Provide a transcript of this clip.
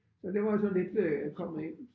Så det var jo sådan lidt øh kommet ind